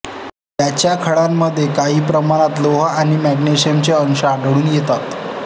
याच्या खड्यांमध्ये काही प्रमाणात लोह आणि मॅग्नेशियमचे अंश आढळून येतात